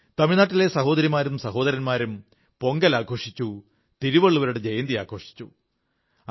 തമിഴ്നാട്ടിലെ സഹോദരിമാരും സഹോദരന്മാരും പൊങ്കൽ ആഘോഷിച്ചു തിരുവള്ളുവരുടെ ജയന്തി ആഘോഷിച്ചു